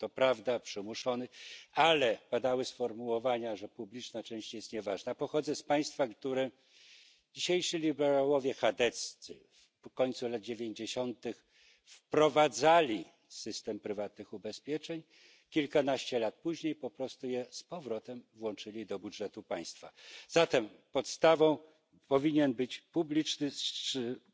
Nirgendwo gibt es mehr Mythen, Falschinformationen, Halbwahrheiten, und deswegen brauchen wir eine objektive Debatte. Die Kommission könnte dafür einen Rahmen schaffen. Wir sollten auch politisch diskutieren, wie soziale Risiken am effektivsten abgesichert werden. Nicht immer geschieht das durch Privatisierung, im Gegenteil. Auch da könnte die europäische Ebene eine gute Basis anbieten, bewährte Vorgehensweisen